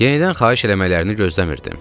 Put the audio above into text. Yenidən xahiş eləməklərini gözləmirdim.